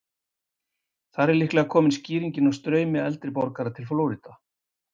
Þar er líklega komin skýringin á straumi eldri borgara til Flórída.